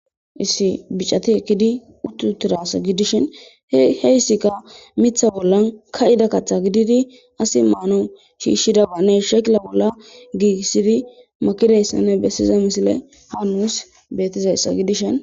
lssi bicati ekkidi utti utidayssa gidishin heyssikka mitha bollan ka7ida kaththa gididi asi maanwu shiishshidabanne shekila bolla giiissidi makidayssanne bessiza misile ha nussi betizayssa gidishin..